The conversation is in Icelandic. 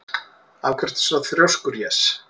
Af hverju ertu svona þrjóskur, Jes?